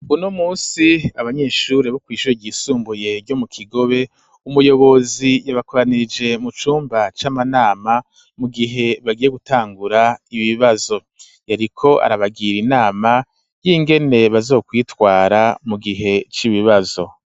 Uno munsi, abanyeshure bo kw'ishure ryisumbuye ryo mu Kigobe, umuyobozi yabakoranirije mu cumba c'amanama, mu gihe bagiye gutangura ibibazo, yariko arabagira inama y'ingene bazokwitwara mu gihe c'ibibazo.